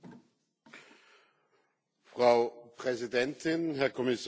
Frau Präsidentin, Herr Kommissar, sehr geehrte Damen und Herren!